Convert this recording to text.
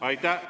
Aitäh!